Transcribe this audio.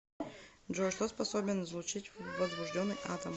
джой что способен излучить возбужденный атом